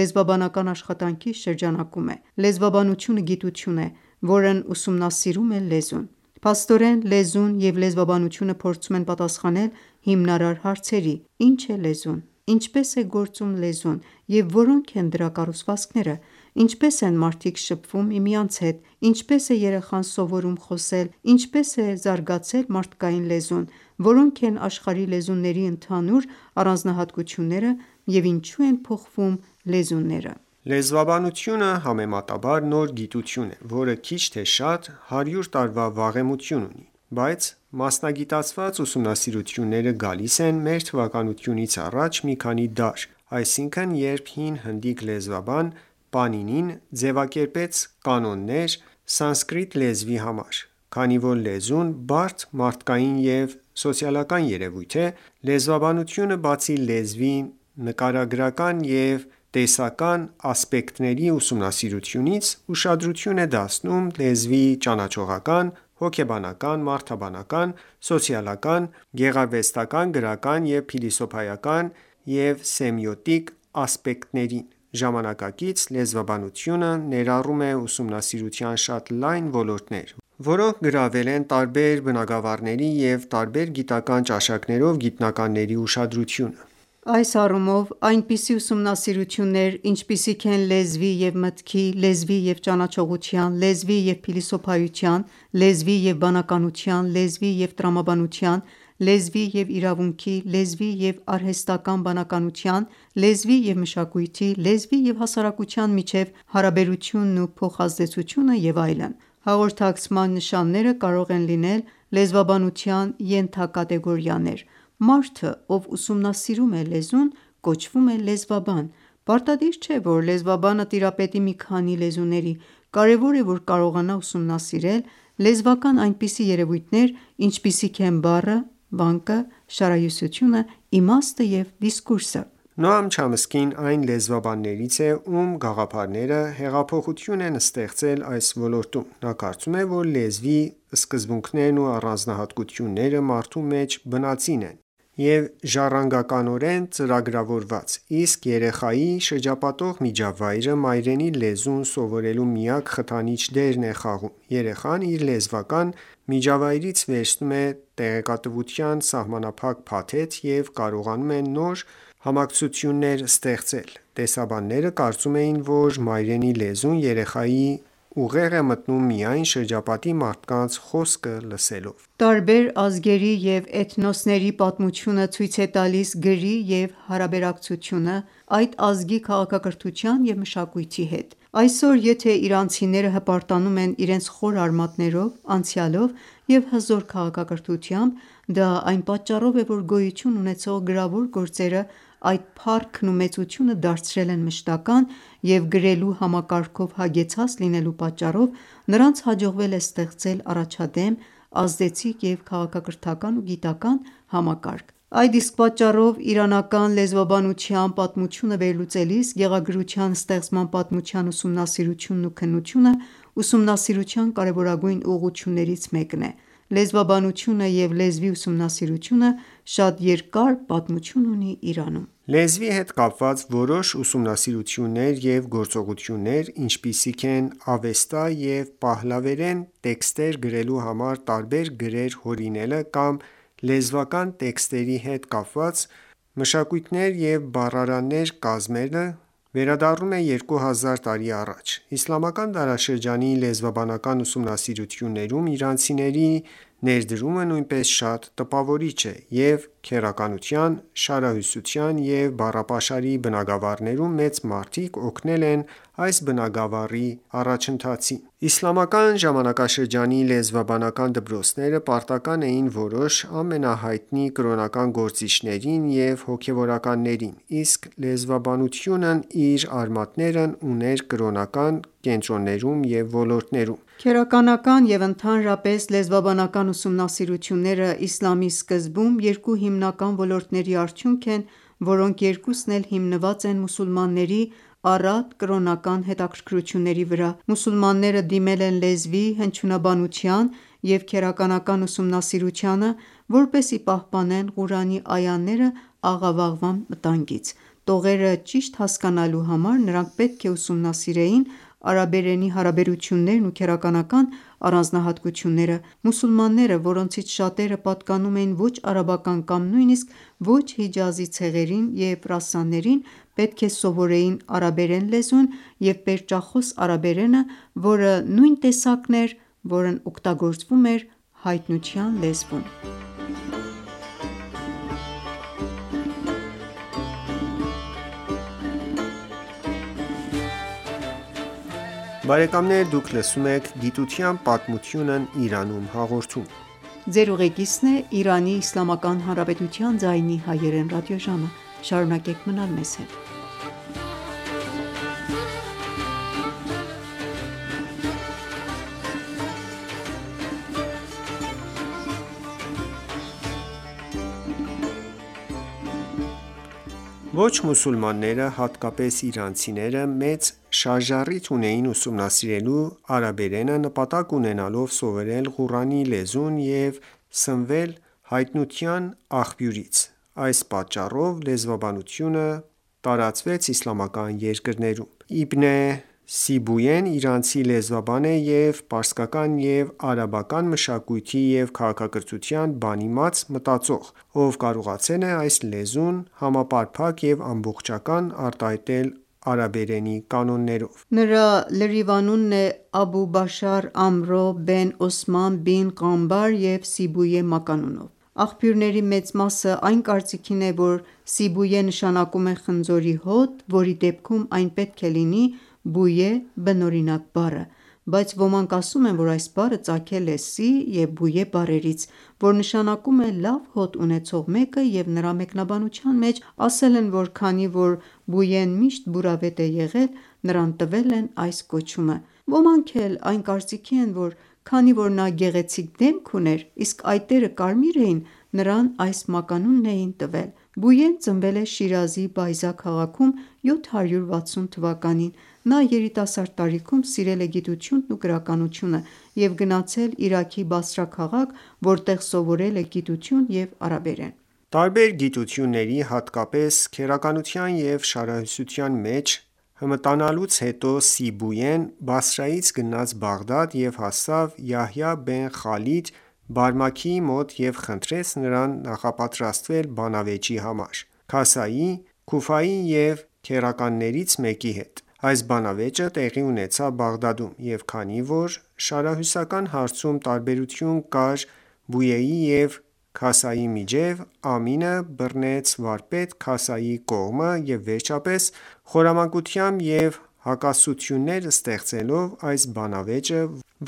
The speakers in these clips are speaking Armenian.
լեզվաբանական աշխատանքի շրջանակում է: Լեզվաբանությունը գիտություն է, որն ուսումնասիրում է լեզուն։ Փաստորեն, լեզուն և լեզվաբանությունը փորձում են պատասխանել հիմնարար հարցերի, «Ի՞նչ է լեզուն», «Ինչպե՞ս է գործում լեզուն և որո՞նք են դրա կառուցվածքները», «Ինչպե՞ս են մարդիկ շփվում միմյանց հետ», «Ինչպե՞ս է երեխան սովորում խոսել», «Ինչպե՞ս է զարգացել մարդկային լեզուն», «Որո՞նք են աշխարհի լեզուների ընդհանուր առանձնահատկությունները» և «Ինչո՞ւ են փոխվում լեզուները»: Լեզվաբանությունը համեմատաբար նոր գիտություն է, որը քիչ թե շատ հարյուր տարվա վաղեմություն ունի: Բայց մասնագիտացված ուսումնասիրությունները գալիս են մ.թ.ա. մի քանի դար, այսինքն, երբ ՝ հին հնդիկ լեզվաբան Պանինին ձևակերպեց կանոններ սանսկրիտ լեզվի համար: Քանի որ լեզուն բարդ մարդկային և սոցիալական երևույթ է, լեզվաբանությունը բացի լեզվի նկարագրական և տեսական ասպեկտների ուսումնասիրությունից, ուշադրություն է դարձնում լեզվի ճանաչողական, հոգեբանական, մարդաբանական, սոցիալական, գեղարվեստական, գրական, փիլիսոփայական և սեմիոտիկ ասպեկտներին: Ժամանակակից լեզվաբանությունը ներառում է ուսումնասիրության շատ լայն ոլորտներ, որոնք գրավել են տարբեր բնագավառների և տարբեր գիտական ճաշակներով գիտնականների ուշադրությունը: Այս առումով, այնպիսի ուսումնասիրություններ, ինչպիսիք են լեզվի և մտքի, լեզվի և ճանաչողության, լեզվի և փիլիսոփայության, լեզվի և բանականության, լեզվի և տրամաբանության, լեզվի և իրավունքի, լեզվի և արհեստական բանականության, լեզվի և մշակույթի, լեզվի և հասարակության միջև հարաբերությունն ու փոխազդեցությունը և այլն: Հաղորդակցման նշանները կարող են լինել լեզվաբանության ենթակատեգորիաներ: Մարդը, ով ուսումնասիրում է լեզուն, կոչվում է լեզվաբան: Պարտադիր չէ, որ լեզվաբանը տիրապետի մի քանի լեզուների։ Կարևոր է, որ կարողանա ուսումնասիրել լեզվական այնպիսի երևույթներ, ինչպիսիք են բառը, վանկը, շարահյուսությունը, իմաստը և դիսկուրսը: Նոամ Չոմսկին այն լեզվաբաններից է, ում գաղափարները հեղափոխություն են ստեղծել այս ոլորտում։ Նա կարծում է, որ լեզվի սկզբունքներն ու առանձնահատկությունները մարդու մեջ բնածին են և «ժառանգականորեն ծրագրավորված», իսկ երեխայի շրջապատող միջավայրը մայրենի լեզուն սովորելու միակ խթանիչ դերն է խաղում։ Երեխան իր լեզվական միջավայրից վերցնում է տեղեկատվության սահմանափակ փաթեթ և կարողանում է նոր համակցություններ ստեղծել: Տեսաբանները կարծում էին, որ մայրենի լեզուն երեխայի ուղեղ է մտնում միայն շրջապատի մարդկանց խոսքը լսելով։ Տարբեր ազգերի և էթնոսների պատմությունը ցույց է տալիս գրի և հարաբերակցությունը՝ այդ ազգի քաղաքակրթության և մշակույթի հետ։ Այսօր, եթե իրանցիները հպարտանում են իրենց խորը արմատներով անցյալով և հզոր քաղաքակրթությամբ, դա այն պատճառով է, որ գոյություն ունեցող գրավոր գործերը այդ փառքն ու մեծությունը դարձրել են մշտական, և գրելու համակարգով հագեցած լինելու պատճառով նրանց հաջողվել է ստեղծել առաջադեմ, ազդեցիկ և. քաղաքակրթական ու գիտական համակարգ: Այդ իսկ պատճառով իրանական լեզվաբանության պատմությունը վերլուծելիս գեղագրության ստեղծման պատմության ուսումնասիրությունն ու քննությունը ուսումնասիրության կարևորագույն ուղղություններից մեկն է։ Լեզվաբանությունը և լեզվի ուսումնասիրությունը, շատ երկար պատմություն ունի Իրանում։ Լեզվի հետ կապված որոշ ուսումնասիրություններ և գործողություններ, ինչպիսիք են Ավեստա և պահլավերեն տեքստեր գրելու համար տարբեր գրեր հորինելը կամ լեզվական տեքստերի հետ կապված մշակույթներ և բառարաններ կազմելը, վերադառնում են երկու հազար տարի առաջ: Իսլամական դարաշրջանի լեզվաբանական ուսումնասիրություններում իրանցիների ներդրումը նույնպես շատ տպավորիչ է, և քերականության, շարահյուսության և բառապաշարի բնագավառներում մեծ մարդիկ օգնել են այս բնագավառի առաջընթացին: Իսլամական ժամանակաշրջանի լեզվաբանական դպրոցները պարտական էին որոշ ամենահայտնի կրոնական գործիչներին և հոգևորականներին, իսկ լեզվաբանությունն իր արմատներն ուներ կրոնական կենտրոններում և ոլորտներում: Քերականական և ընդհանրապես լեզվաբանական ուսումնասիրությունները իսլամի սկզբում երկու հիմնական ոլորտների արդյունք են, որոնք երկուսն էլ հիմնված են մուսուլմանների առատ կրոնական հետաքրքրությունների վրա: Մուսուլմանները դիմել են լեզվի, հնչյունաբանության և քերականության ուսումնասիրությանը, որպեսզի պահպանեն Ղուրանի այաները աղավաղման վտանգից: Տողերը ճիշտ հասկանալու համար նրանք պետք է ուսումնասիրեին արաբերենի հարաբերություններն ու քերականական առանձնահատկությունները։ Մուսուլմանները, որոնցից շատերը պատկանում էին ոչ արաբական կամ նույնիսկ ոչ հիջազի ցեղերին և ռասաներին, պետք է սովորեին արաբերեն լեզուն և պերճախոս արաբերենը, որը նույն տեսակն էր, որն օգտագործվում էր հայտնության լեզվում: Ոչ մուսուլմանները, հատկապես իրանցիները, մեծ շարժառիթ ունեին ուսումնասիրելու արաբերենը՝ նպատակ ունենալով սովորել Ղուրանի լեզուն և սնվել հայտնության աղբյուրից։ Այս պատճառով լեզվաբանությունը տարածվեց իսլամական երկրներում։ Իբն Սիբույեն իրանցի լեզվաբան է և պարսկական և արաբական մշակույթի և քաղաքակրթության բանիմաց մտածող, ով կարողացել է այս լեզուն համապարփակ և ամբողջական արտահայտել արաբերենի կանոններով: Նրա լրիվ անունն է Աբու Բաշար Ամրո բեն Օսման բին Ղանբար և Սիբույե մականունով։ Աղբյուրների մեծ մասը այն կարծիքին է, որ Սիբույե նշանակում է խնձորի հոտ, որի դեպքում այն պետք է լինի « Բույե» բնօրինակ բառը: Բայց ոմանք ասում են, որ այս բառը ծագել է «Սի» և «Բույե» բառերից, որ նշանակում է լավ հոտ ունեցող մեկը և նրա մեկնաբանության մեջ ասել են, որ քանի որ Սիբույեն միշտ բուրավետ է եղել, նրան տվել են այս կոչումը։ Ոմանք էլ այն կարծիքին են, որ քանի որ նա գեղեցիկ դեմք ուներ, իսկ այտերը կարմիր էին, նրան այս մականունն էին տվել։ Սիբույեն ծնվել է Շիրազի Բայզա քաղաքում 760 թվականին: Նա երիտասարդ տարիքում սիրել է գիտությունն ու գրականությունը, և գնացել Իրաքի Բասրա քաղաք, որտեղ սովորել է գիտություն և արաբերեն։ Տարբեր գիտությունների, հատկապես քերականության և շարահյուսության մեջ հմտանալուց հետո, Սիբույեն Բասրայից գնաց Բաղդադ և հասավ Յահյա բեն Խալիդ Բարմաքիի մոտ և խնդրեց նրան նախապատրաստվել բանավեճի համար «Քասայի»՝ Քուֆայի և քերականներից մեկի հետ: Այս բանավեճը տեղի ունեցավ Բաղդադում, և քանի որ շարահյուսական հարցում տարբերություն կար ոյեի և Քասայի միջև, Ամինը բռնեց վարպետ Քասայի կողմը և վերջապես խորամանկությամբ ու հակասություններ ստեղծելով այս բանավեճը,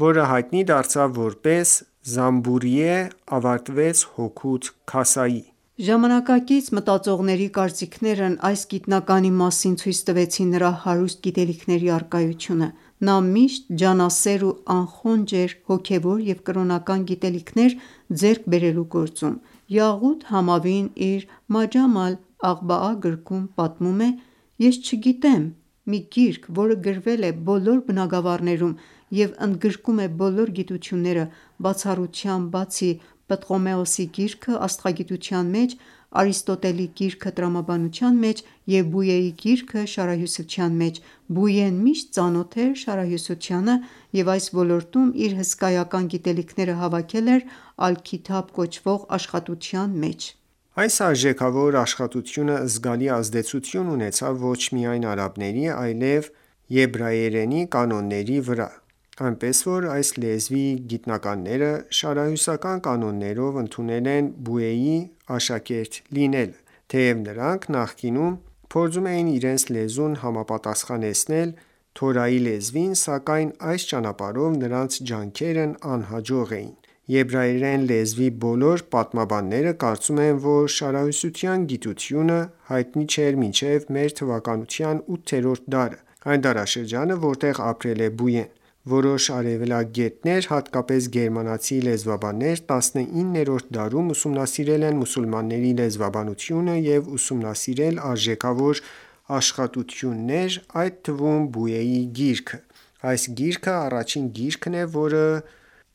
որը հայտնի դարձավ որպես «Զանբորիե», ավարտվեց հօգուտ Քասայի։ Ժամանակակից մտածողների կարծիքներն այս գիտնականի մասին ցույց տվեցին նրա հարուստ գիտելիքների առկայությունը։ Նա միշտ ջանասեր ու անխոնջ էր հոգևոր և կրոնական գիտելիքներ ձեռք բերելու գործում։ Յաղութ Համավին իր «Մաջամ ալ-Ադբաա» գրքում պատմում է.«Ես չգիտեմ մի գիրք, որը գրվել է բոլոր բնագավառներում և ընդգրկում է բոլոր գիտությունները, բացառությամբ բացի «Պտղոմեոս»-ի գիրքը աստղագիտության մեջ, «Արիստոտել»-ի գիրքը տրամաբանության մեջ և ոյեի գիրքը շարահյուսության մեջ։ Սիբույեն միշտ ծանոթ էր շարահյուսությանը և այս ոլորտում իր հսկայական գիտելիքները հավաքել էր «Ալ-Քիթաբ» կոչվող աշխատության մեջ։ Այս արժեքավոր աշխատությունը զգալի ազդեցություն ունեցավ ոչ միայն արաբերենի, այլև եբրայերենի կանոնների վրա, այնպես որ այս լեզվի գիտնականները շարահյուսական կանոններով ընդունել են ոյեի աշակերտ լինելը։ Թեև նրանք նախկինում փորձում էին իրենց լեզուն համապատասխանեցնել Թորայի լեզվին, սակայն այս ճանապարհով նրանց ջանքերն անհաջող էին: Եբրայերեն լեզվի բոլոր պատմաբանները կարծում են, որ շարահյուսության գիտությունը հայտնի չէր մինչև մ.թ. 8-րդ դարը, այն դարաշրջանը, որտեղ ապրել է Սիբույեն: Որոշ արևելագետներ, հատկապես գերմանացի լեզվաբաններ, 19-րդ դարում ուսումնասիրել են մուսուլմանների լեզվաբանությունը և ուսումնասիրել արժեքավոր աշխատություններ, այդ թվում՝ ոյեի գիրքը։ Այս գիրքը առաջին գիրքն է, որը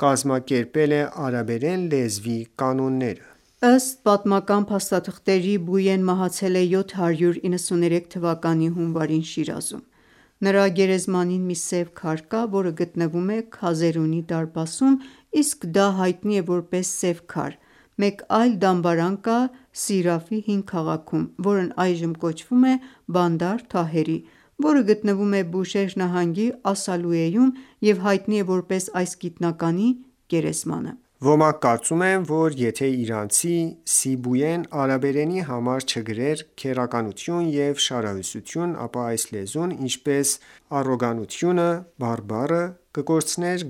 կազմակերպել է արաբերեն լեզվի կանոնները։ Ըստ պատմական փաստաթղթերի՝ Սիույեն մահացել է 793 թվականի հունվարին Շիրազում։ Նրա գերեզմանին մի սև քար կա, որը գտնվում է Քազերունի դարպասում իսկ դա հայտնի է որպես սեւ քար։ Մեկ այլ դամբարան կա Սիրաֆ հին քաղաքում, որն այժմ կոչվում է Բանդար Թահերի, որը գտնվում է Բուշեհր նահանգի Ասալույեում, և հայտնի է որպես այս գիտնականի գերեզմանը։ Ոմանք կարծում են, որ եթե իրանցի Սիբույեն արաբերենի համար չգրեր քերականություն և շարահյուսություն, ապա այս լեզուն, ինչպես առոգանությունը (բարբառը) կկորցներ